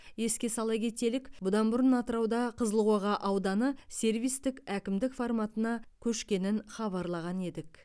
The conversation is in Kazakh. еске сала кетелік бұдан бұрын атырауда қызылқоға ауданы сервистік әкімдік форматына көшкенін хабарлаған едік